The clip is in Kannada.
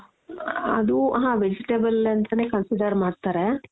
ಅದು ಹ vegetable ಅಂತಾನೆ consider ಮಾಡ್ತಾರೆ